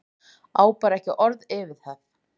Ég á bara ekki orð yfir það.